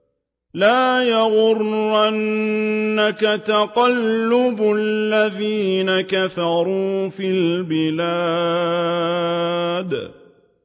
لَا يَغُرَّنَّكَ تَقَلُّبُ الَّذِينَ كَفَرُوا فِي الْبِلَادِ